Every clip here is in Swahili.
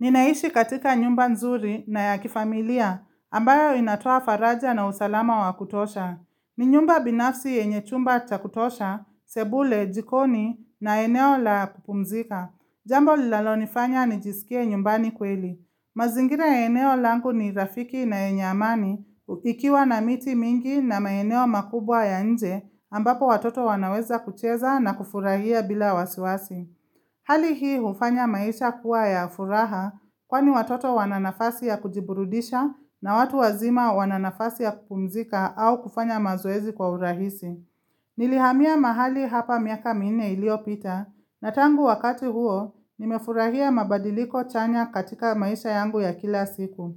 Ninaishi katika nyumba nzuri na ya kifamilia ambayo inatoa faraja na usalama wa kutosha. Ni nyumba binafsi yenye chumba cha kutosha, sebule, jikoni na eneo la kupumzika. Jambo linalo nifanya nijisikie nyumbani kweli. Mazingira ya eneo langu ni rafiki na yenyre amani ikiwa na miti mingi na maeneo makubwa ya nje ambapo watoto wanaweza kucheza na kufurahia bila wasiwasi. Hali hii hufanya maisha kuwa ya furaha kwani watoto wananafasi ya kujiburudisha na watu wazima wana nafasi ya kupumzika au kufanya mazoezi kwa urahisi. Nilihamiya mahali hapa miaka minne ilio pita na tangu wakati huo nimefurahia mabadiliko chanya katika maisha yangu ya kila siku.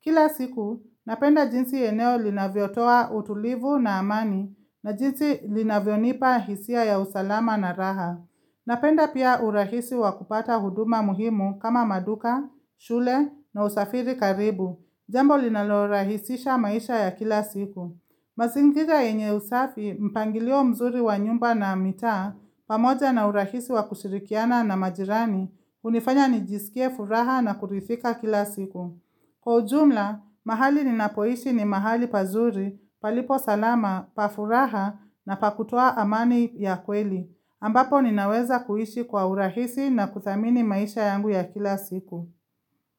Kila siku napenda jinsi eneo linavyo toa utulivu na amani na jinsi linavyo nipa hisia ya usalama na raha. Napenda pia urahisi wa kupata huduma muhimu kama maduka, shule na usafiri karibu. Jambo linalo rahisisha maisha ya kila siku. Mazingira yenye usafi mpangilio mzuri wa nyumba na mitaa, pamoja na urahisi wa kushirikiana na majirani, unifanya nijisikie furaha na kurithika kila siku. Kwa ujumla, mahali ninapoishi ni mahali pazuri, palipo salama, pa furaha na pakutoa amani ya kweli. Ambapo ninaweza kuishi kwa urahisi na kuthamini maisha yangu ya kila siku.